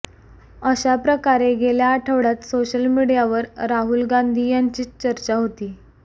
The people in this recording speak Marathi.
अशा प्रकारे गेल्या आठवड्यात सोशल मीडियावर राहुल गांधी यांचीच चर्चा होती